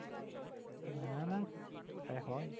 না না তা কি হয়?